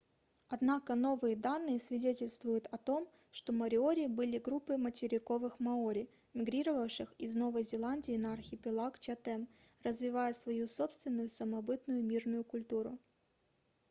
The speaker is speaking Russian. однако новые данные свидетельствуют о том что мориори были группой материковых маори мигрировавших из новой зеландии на архипелаг чатем развивая свою собственную самобытную мирную культуру